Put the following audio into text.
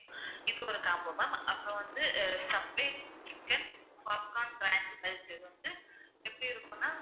இது ஒரு combo ma'am அப்புறம் வந்து subdate chicken popcorn இது வந்து எப்படி இருக்குன்னா